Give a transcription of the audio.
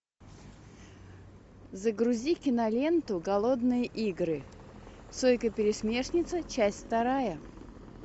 загрузи киноленту голодные игры сойка пересмешница часть вторая